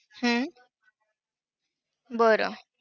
हम्म बरं!